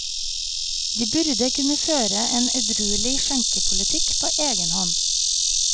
De burde kunne føre en edruelig skjenkepolitikk på egen hånd.